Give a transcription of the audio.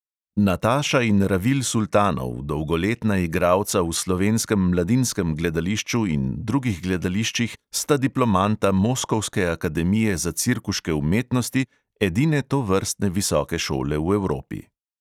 Nataša in ravil sultanov, dolgoletna igralca v slovenskem mladinskem gledališču in drugih gledališčih, sta diplomanta moskovske akademije za cirkuške umetnosti, edine tovrstne visoke šole v evropi.